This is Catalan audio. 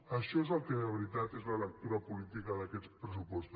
això és el que de veritat és la lectura política d’aquests pressupostos